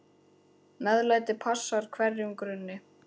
MEÐLÆTI passar hverjum grunni.